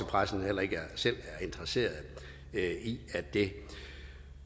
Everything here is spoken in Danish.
pressen heller ikke selv er interesseret i at det